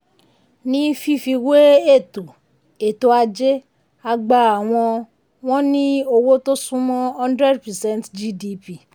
ní fífi wé ètò ètò ajé àgbà àwọn wọ́n ní owó tó sunmọ́ 100 percent gdp.